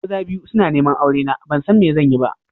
Maza biyu suna neman aurena ban san me zan yi ba.